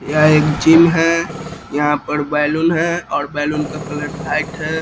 यह एक जिम है यहाँ पर बैलून है बैलून का कलर वाइट है।